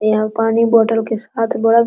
यहाँ पानी बोटल के साथ बड़ा --